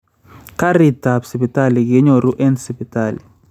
Karit ap Sipitali kenyoru en Sipitali